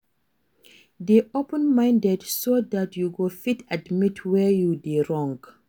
Dey open minded so dat you go fit admit where you dey wrong